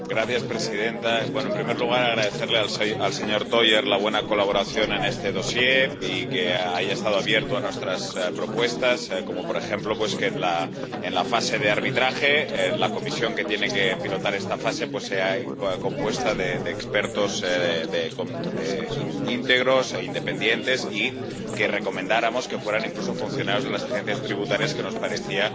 Señora presidenta, en primer lugar, agradecerle al señor Theurer la buena colaboración en este dosier y que haya estado abierto a nuestras propuestas, como, por ejemplo, a que en la fase de arbitraje la comisión que tiene que pilotar esta fase esté compuesta de expertos íntegros e independientes, y a que recomendáramos que fueran incluso funcionarios de las agencias tributarias —que nos parecía